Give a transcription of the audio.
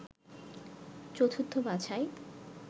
চতুর্থ বাছাই